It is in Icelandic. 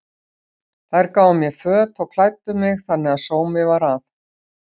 Þær gáfu mér föt og klæddu mig þannig að sómi var að.